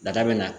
Daga bɛ na